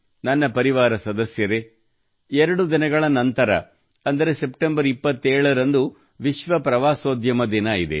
ನನ್ನ ಪರಿವಾರ ಸದಸ್ಯರೆ ಎರಡು ದಿನಗಳ ನಂತರ ಅಂದರೆ ಸೆಪ್ಟೆಂಬರ್ 27 ರಂದು ವಿಶ್ವ ಪ್ರವಾಸೋದ್ಯಮ ದಿನವಿದೆ